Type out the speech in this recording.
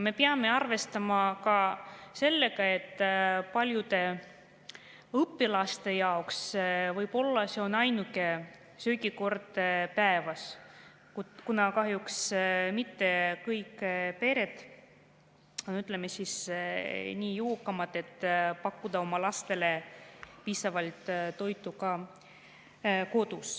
Me peame arvestama ka sellega, et paljude õpilaste jaoks on see võib-olla ainuke söögikord päevas, kuna kahjuks mitte kõik pered, ütleme, nii jõukad, et pakkuda oma lastele kodus piisavalt toitu.